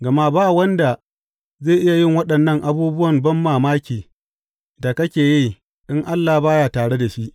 Gama ba wanda zai iya yin waɗannan abubuwan banmamaki da kake yi in Allah ba ya tare da shi.